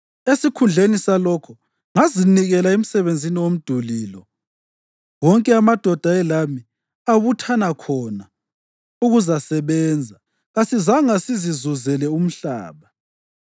Esikhundleni salokho, ngazinikela emsebenzini womduli lo. Wonke amadoda ayelami abuthana khona ukuzasebenza; kasizange sizizuzele umhlaba.